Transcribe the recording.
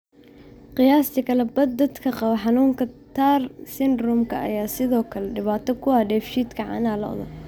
Qiyaastii kala badh dadka qaba xanuunka TAR syndrome-ka ayaa sidoo kale dhibaato ku ah dheefshiidka caanaha lo'da.